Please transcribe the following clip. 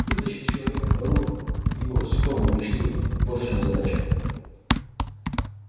вытащить из человека наружу его скромную мечту вот в чём задача